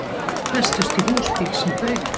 Festust í húsbíl sem fauk